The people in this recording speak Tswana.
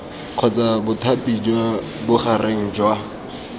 kgotsa bothati jwa bogareng jwa